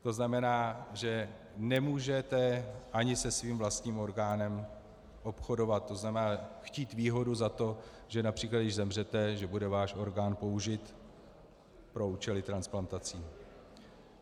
To znamená, že nemůžete ani se svým vlastním orgánem obchodovat, to znamená, chtít výhodu za to, že například když zemřete, že bude váš orgán použit pro účely transplantací.